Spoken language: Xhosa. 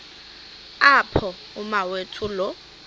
apho umawethu lo